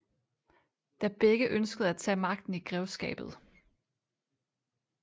Da begge ønskede at tage magten i grevskabet